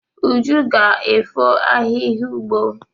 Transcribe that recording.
Uju ga-efọ ahihia ugbo.